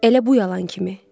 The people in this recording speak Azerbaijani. Elə bu yalan kimi.